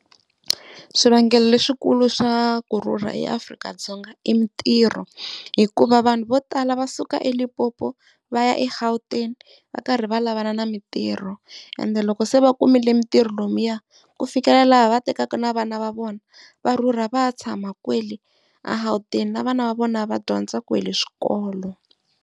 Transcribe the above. Swivangelo leswikulu swa kurhurha eAfrika-Dzonga i mitirho hikuva vanhu vo tala va suka eLimpopo va ya eGauteng va karhi va lavana na mitirho, ende loko se va kumile mitirho lomuya ku fikela laha va tekaka na vana va vona va rhurha va ya tshama kwale a Gautenga na vana va vona va dyondza kwale swikolo.